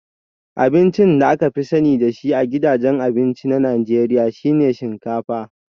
Abincin da aka fi sani da shi a gidajen abinci na Najeriya shi ne shinkafa